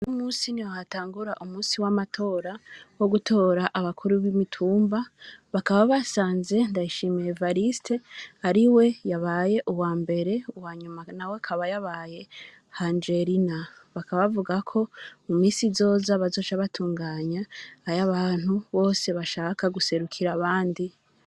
Uno musi niho hatangura umusi w'amatora wo gutora abakuru bi mitumba bakaba basanze Ndayishimiye Evariste ariwe yabaye uwambere uwanyuma nawe akaba yabaye Angelina bakaba bavuga ko mu misi izoza bazoca batunganya ayabantu bose bashaka guserukira abandi.